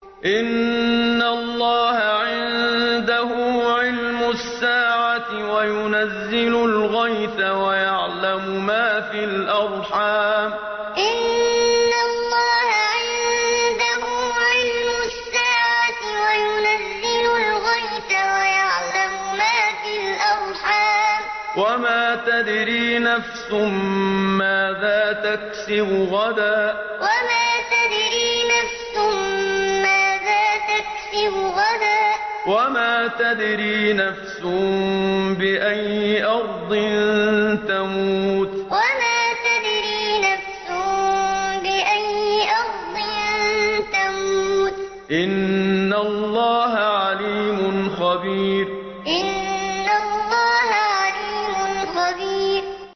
إِنَّ اللَّهَ عِندَهُ عِلْمُ السَّاعَةِ وَيُنَزِّلُ الْغَيْثَ وَيَعْلَمُ مَا فِي الْأَرْحَامِ ۖ وَمَا تَدْرِي نَفْسٌ مَّاذَا تَكْسِبُ غَدًا ۖ وَمَا تَدْرِي نَفْسٌ بِأَيِّ أَرْضٍ تَمُوتُ ۚ إِنَّ اللَّهَ عَلِيمٌ خَبِيرٌ إِنَّ اللَّهَ عِندَهُ عِلْمُ السَّاعَةِ وَيُنَزِّلُ الْغَيْثَ وَيَعْلَمُ مَا فِي الْأَرْحَامِ ۖ وَمَا تَدْرِي نَفْسٌ مَّاذَا تَكْسِبُ غَدًا ۖ وَمَا تَدْرِي نَفْسٌ بِأَيِّ أَرْضٍ تَمُوتُ ۚ إِنَّ اللَّهَ عَلِيمٌ خَبِيرٌ